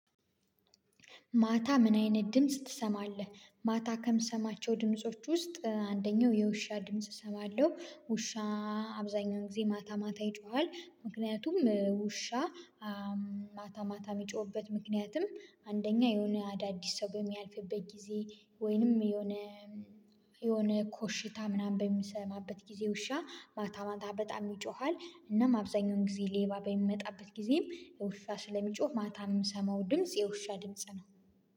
ማታ ምን አይነት ድምጽ ትሰማለህ? ማታ ከምሰማቸው ድምጾች ውስጥ አንደኛው የውሻ ድምጽ እሰማለሁ ውሻ አብዛኛውን ጊዜ ማታ ማታ ይጮሃል። ምክንያቱም ውሻ ማታ ማታ የሚጮህበት ምክንያትም አንደኛ የሆነ አዳዲስ ሰው በሚያልፍበት ጊዜ ወይንም የሆነ የሆነ ኮሽታ ምናምን በምሰማበት ጊዜ ውሻ ማታ ማታ በጣም ይጮሃል። እናም አብዛኛውን ጊዜ ሌባ በሚመጣበት ጊዜም ውሻ ስለሚጮህ ማታ የምሰማው ድምጽ የውሻ ድምጽ ነው